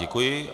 Děkuji.